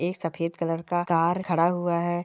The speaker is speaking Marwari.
एक सफेद कलर का कार खड़ा हुआ है।